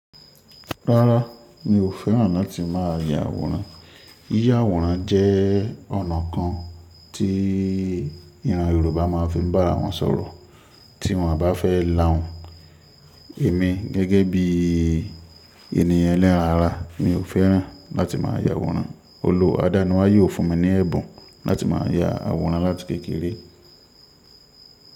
Rárá, mi ò fẹ́ràn láti má a ya àwòrán. Yíya àwòrán jẹ́ ọ̀nà kan tí ìran Yorùbá máa fi ń bá ara wọn sọ̀rọ̀ tí wọ́n bá fẹ́ là hun. Èmi gẹ́gẹ́ bí ènìyàn eleran ara, mi ò fẹ́ràn láti má ya àwòrán. Olù adaniwaye o fún mi ní ẹ̀bùn láti má ya àwòrán láti kékeré.